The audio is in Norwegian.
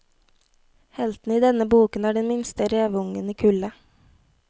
Helten i denne boken er den minste reveungen i kullet.